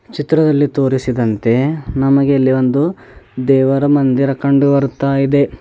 ಚಿತ್ರದಲ್ಲಿ ತೋರಿಸಿದಂತೆ ನಮಗೆ ಇಲ್ಲಿ ಒಂದು ದೇವರ ಮಂದಿರ ಕಂಡು ಬರುತ್ತಾಇದೆ.